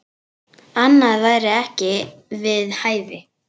Annað væri ekki við hæfi.